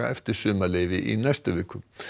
eftir sumarleyfi í næstu viku